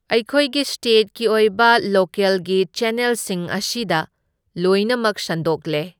ꯑꯩꯈꯣꯏꯒꯤ ꯁ꯭ꯇꯦꯠꯀꯤ ꯑꯣꯏꯕ ꯂꯣꯀꯦꯜꯒꯤ ꯆꯦꯟꯅꯦꯜꯁꯤꯡ ꯑꯁꯤꯗ ꯂꯣꯏꯅꯃꯛ ꯁꯟꯗꯣꯛꯂꯦ꯫